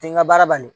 Tɛ n ka baara bali